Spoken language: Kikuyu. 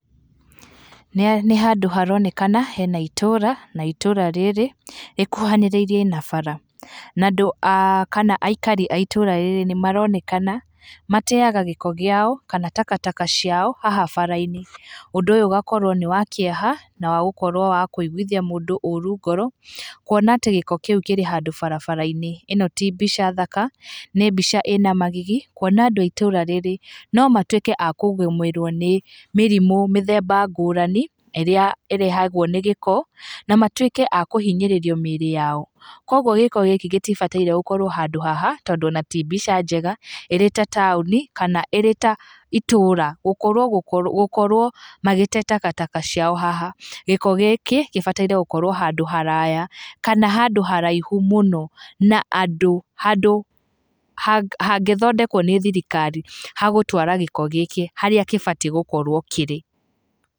Nĩ handũ haronekana hena itũũra na itũũra rĩrĩ, rĩkuhanĩrĩirie na bara na andũ kana aikari a itũũra rĩrĩ nĩmaronekana mateaga gĩko kĩao kana takataka ciao haha barabara-inĩ, ũndũ ũyũ ũgakorwo nĩ wa kĩeha na wagũkorwo wa wakũiguithia mũndũ ũũru ngoro, kuona atĩ gĩko kĩu kĩrĩ handũ barabara-inĩ, ĩno ti mbica thaka nĩ mbica ĩĩna magigi kuona andũ a itũũra rĩrĩ, nomatuĩke a kũgũmĩrwo nĩ mĩrimũ mĩthemba ngũrani ĩrĩa ĩrehagwo nĩ gĩko na matuĩke a kũhinyĩrĩrio nĩ mĩĩrĩ yao, koguo gĩko gĩkĩ gĩtibataire gũkorwo handũ haha tondũ ona ti mbica njega ĩrĩ ta taũni kana ĩrĩ ta itũũra gũkorwo magĩte takataka ciao haha, gĩko gĩkĩ gĩbatarĩte gũkorwo handũ haraya kana handũ haraihu mũno na andũ handũ hangĩthondekwo nĩ thirikari ha gũtwara gĩko gĩkĩ harĩa gĩbatiĩ gũkorwo kĩrĩ.